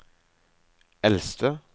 eldste